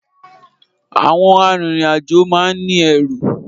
Àwọn arìnrìnàjò máa n ní ẹrù